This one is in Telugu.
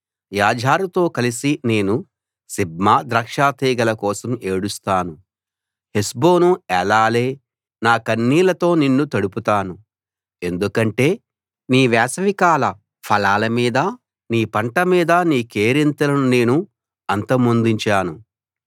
యాజరుతో కలిసి నేను సిబ్మా ద్రాక్షాతీగెల కోసం ఏడుస్తాను హెష్బోనూ ఏలాలే నా కన్నీళ్లతో నిన్ను తడుపుతాను ఎందుకంటే నీ వేసవికాల ఫలాల మీద నీ పంట మీద నీ కేరింతలను నేను అంతమొందించాను